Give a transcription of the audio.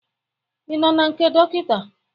Ị nọ na nke dọkịta?